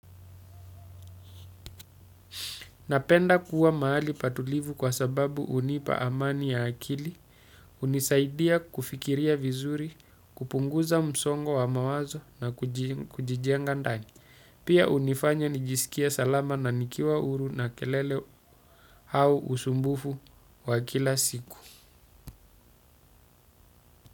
Napenda kuwa mahali patulivu kwa sababu hunipa amani ya akili, hunisaidia kufikiria vizuri, kupunguza msongo wa mawazo na kujijenga ndani. Pia hunifanya nijisikie salama na nikiwa huru na kelele au usumbufu wa kila siku.